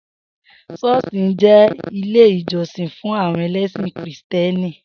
S̩ó̩ò̩s̩ì jé̩ ilé ìjó̩sìn fún àwo̩n e̩lé̩sìn Kìrìsìté̩nì